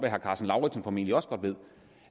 herre karsten lauritzen formentlig også godt ved